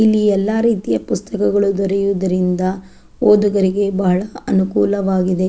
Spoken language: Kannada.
ಇಲ್ಲಿ ಎಲ್ಲ ರೀತಿಯ ಪುಸ್ತಕಗಳು ದೊರೆಯುವುದರಿಂದ ಓದುಗರಿಗೆ ಬಹಳ ಅನುಕೂಲವಾಗಿದೆ .